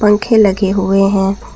पंखे लगे हुए हैं।